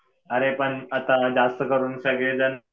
अरे पण आता जास्त करून सगळे जण,